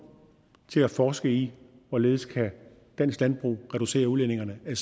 til at forske i hvorledes dansk landbrug reducere udledningerne af